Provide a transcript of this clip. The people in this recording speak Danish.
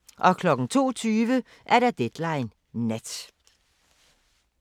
02:20: Deadline Nat